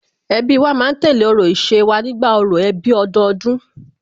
Ẹbí wa ma ń tẹ̀lé orò ìṣe wa nígbà orò ẹbí ọdọọdún